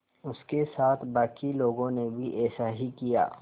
उसके साथ के बाकी लोगों ने भी ऐसा ही किया